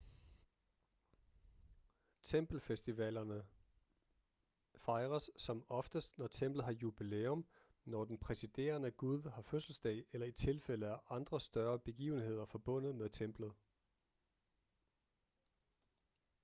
tempelfestivalerne fejres som oftest når templet har jubilæum når den præsiderende gud har fødselsdag eller i tilfælde af andre større begivenheder forbundet med templet